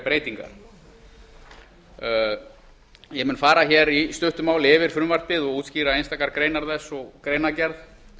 breytingar ég mun fara hér í stuttu máli yfir frumvarpið og útskýra einstakar greinar þess og greinargerð